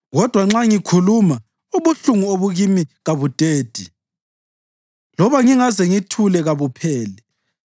Kodwa nxa ngikhuluma, ubuhlungu obukimi kabudedi; loba ngingaze ngithule, kabupheli.